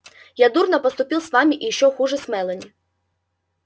я дурно поступил с вами и ещё хуже с мелани